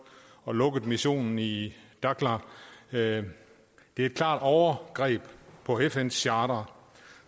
og lukkede missionen i dakhla det er et klart overgreb på fns charter